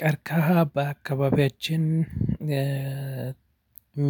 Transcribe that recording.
ቀርካሃ በአካባቢያችን